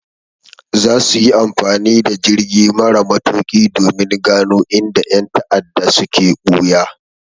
Za su yi amfani da jirgi mara matuƙi domin gano inda ƴan ta'adda suke ɓuya.